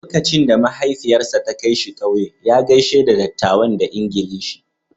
Lokacin da mahaifiyarsa ta kai shi kauye, ya gaishe da dattawan da Ingilishi.